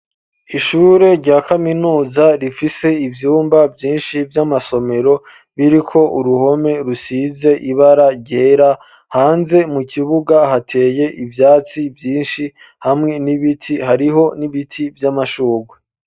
Ishure rya kaminuza, rifise ivyumba vyinshi vy'amasomero, biriko uruhome rusize ibara ryera; hanze mu kibuga hateye ivyatsi vyinshi, hamwe n'ibiti; hariho n'ibiti vy'amashurwe.